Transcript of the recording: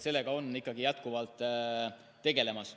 Sellega ikkagi jätkuvalt tegeldakse.